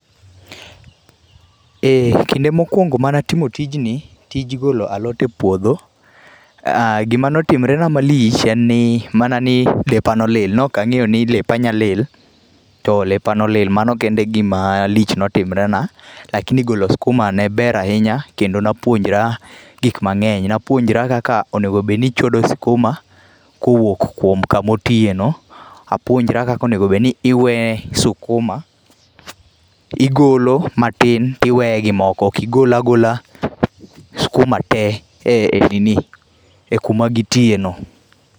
Ee kinde mokwongo mane atimo tijni, tij golo alot e puodho um, gima ne otimore na malich en ni, mana ni lepa nolil. Ne ok angéyo ni lepa nyalil, to lepa nolil. Mano kende e gima lich notimore na. Lakini golo skuma ne ber ahinya, kendo na puojora gik mangény. Napuonjra kaka onego bed ni ichodo skuma, kowuok kuom kama otie no, apuonjra kaka onego bed in iwe skuma, igolo matin, tiwee gi moko. Ok igol agola skuma te, e, e nini, e kuma gitie no.